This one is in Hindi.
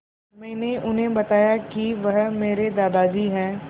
मैंने उन्हें बताया कि वह मेरे दादाजी हैं